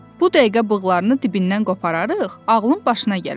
Bu dəqiqə bığlarını dibindən qopararıq, ağlın başına gələr.